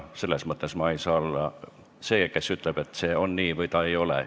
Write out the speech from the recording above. Ma ei saa olla see, kes ütleb, et see on nii või ei ole.